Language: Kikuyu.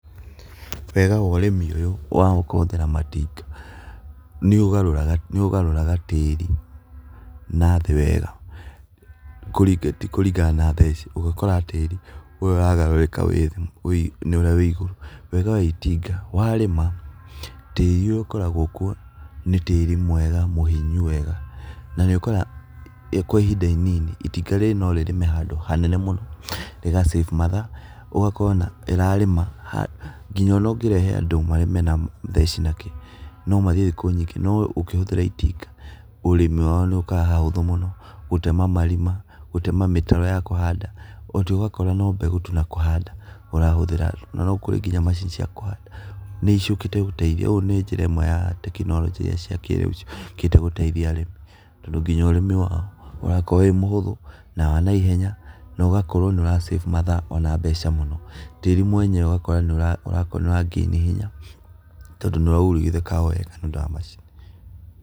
Wega wa ũrĩmi ũyũ wa kũhũthĩra matinga, nĩũgarũraga tĩri na thĩ wega kũringana na thesi, ũgakora tĩri na thĩ wega tĩ kũringana na thesi, ũgakora tĩri ũrĩa ũragarũrĩka nĩũrĩa wĩ igũrũ, wega wa itinga warĩma tĩri ũrĩa ũkoragwo kuo nĩ tĩri mwega, mũhinyu wega nanĩũkoraga kwa ihinda inini itinga norĩrĩme handũ hanene mũno rĩgasave mathaa ũgakora ĩrarĩma handũ nginya ona ũngĩrehe andũ marĩme na theci na kĩ nomathiĩ thukũ nyingĩ noũngĩhũthĩra itinga, ũrimi wao nĩũkaga hahũthũ mũno, gũtema marima, gũtema mĩtaro ya kũhanda, mũtĩ ũgakora no mbegũ tu na kũhanda ũrahũthĩra nginya maccini cia kũhanda ,nĩciũkĩte gũteithia njĩraa ĩmwe ya tekinorojĩ iriaa ciakĩrĩũ ciũkĩte gũteithia arĩmi tondũ nginya ũrĩmi wao, ũrakorwo wĩ mũhũthũ na wanaihenya na ũgakorwo nĩũra save mathaa ona mbeca mũno, tĩri mwenyewe ũgakora nĩũra gain hinya tondũ nĩũraujugĩka wega nĩũndũ wa macini.